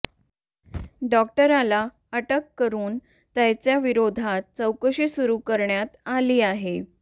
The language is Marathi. डॉक्टरला अटक करून त्याच्या विरोधात चौकशी सुरू करण्यात आली आहे